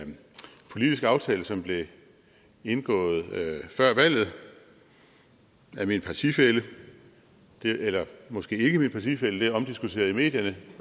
en politisk aftale som blev indgået før valget af min partifælle eller måske ikke min partifælle det er omdiskuteret i medierne